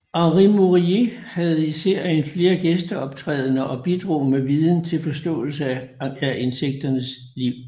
Henri Mourier havde i serien flere gæsteoptrædener og bidrog med viden til forståelse af insekternes liv